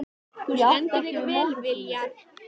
Þú stendur þig vel, Viljar!